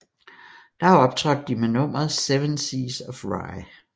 Der optrådte de med nummeret Seven Seas of Rhye